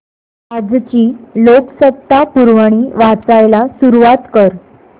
आजची लोकसत्ता पुरवणी वाचायला सुरुवात कर